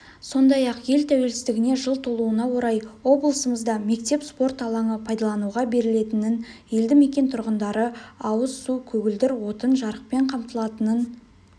сондай-ақ ел тәуелсіздігіне жыл толуына орай облысымызда мектеп спорт алаңы пайдалануға берілетінін елді мекен тұрғындары ауыз су көгілдір отын жарықпен қамтылатынын